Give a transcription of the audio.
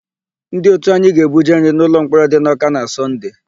Ndị òtù anyị ga-ebuje nri n'ụlọmkpọrọ dị n'Ọ́ká na Sọnde.